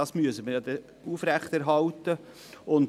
Das werden wir also aufrechterhalten müssen.